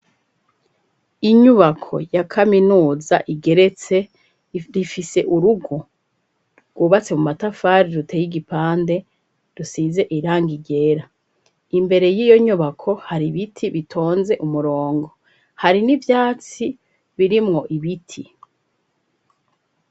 Inyubako ya Kaminuza igeretse rifise urugo rwubatse mu matafari ruteye igipande rusize irangi ryera imbere yiyo nyubako hari ibiti bitunze imirongo hari nivyatso birimwo ibiti .